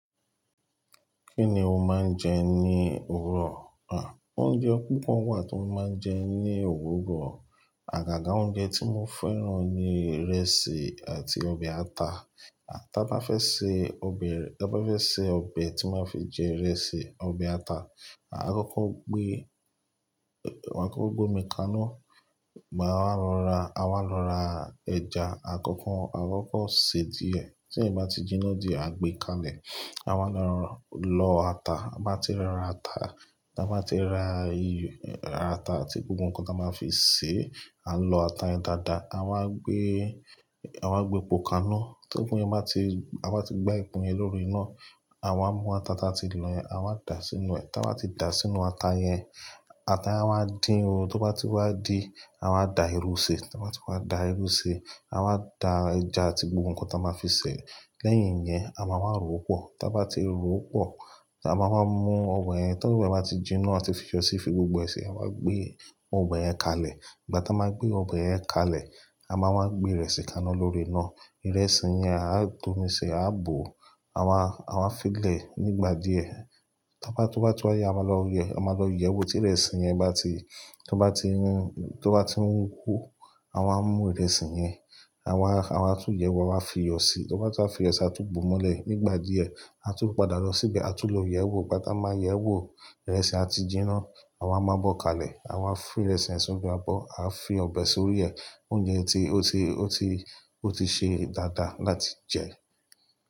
Kí ni o máa ń jẹ ní òwurọ̀? À, oúnjẹ púpọ̀ wà tí mo máa ń jẹ ní òwurọ̀. Àgàgà oúnjẹ tí mo fẹ́ràn ni ìrẹsì àti ọbẹ̀ ata. Tí a bá fẹ́ se ọbẹ̀, tí a bá fẹ́ se ọbẹ̀ tí n máa fi jẹ ìrẹsì, ọbẹ̀ ata, a máa kókó gbé, a máa kókó gbé omi kaná, maa wá lọ ra, a máa lọ ra ẹja àkọ́kọ́, a máa kókó sè é díẹ̀. Tí yẹ̀n bá ti jiná díẹ̀, a gbé kalẹ̀. A wá lọ lọ ata, tabá tí ra ata, tabá tí ra ata àti gbogbo nǹkan tí a máa fi sè é, a n lọ ata yẹn dáadáa, a wá n gbé, a wá gbé epo kaná. Tí epo yẹn bá ti, ta bá ti gbá epo yẹn lórí iná, àwa mú ata taa ti lọ̀ yẹn, àwa dà á sínú ẹ̀. Tí a bá ti dà á sínú ata yẹn, ata yẹn á wá dín o. Tí ó bá ti wá din, à wa dà irú ṣi. Tí a bá ti wá dà irú ṣe, à wa dà ẹja àti gbogbo nǹkan tí a máa fi sè é. Lẹ́yìn yẹn, a máa wa ròpọ̀. Tí a bá ti ro pọ̀, a máa mú ọbẹ̀ yẹn. Tí ọbẹ̀ bá ti jiná à tun fi iyọ́ síi fi gbogbo ẹ si, à wa gbé ọbẹ̀ yẹn kalẹ̀. Ígbà tí a máa gbé ọbẹ̀ yẹn kalẹ̀, a máa gbé ìrẹsì kaná lórí iná. Ìrẹsì yẹn a dómi ṣi, a bó, àwa, àwa fi lẹ̀ nígbà díẹ̀. Tí a bá, tí wa tún yin, a máa lọ gbogbo e, a máa lọ yẹ̀wò tí ìrẹsì yẹn bá ti, tí ó bá ti n hú, tí ó bá ti ń hú kuro, à wa mú ìrẹsì yẹn, àwa, àwa tún yẹ̀wò, àwa fiyọ síi. Tí a bá ti wa fiyọ síi, a tún bó ó mọ́lẹ̀ nígbà díẹ̀. A tún padà lọ síbẹ̀, a tún lọ yẹ̀wò. Ígbà tí a máa yẹ̀wò, ìrẹsì á ti jiná, à wa mu abó kalẹ̀. À wa fi ìrẹsì yen sínú abọ́, à fi ọbẹ̀ sórí ẹ̀. Oúnjẹ ti, ó ti, ó ti, ó ti ṣe dáadáa láti jẹ.